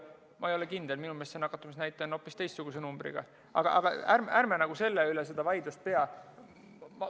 Ma ei ole kindel, minu meelest see nakatumisnäitaja on hoopis teistsuguse numbriga, aga ärme selle üle vaidlust peame.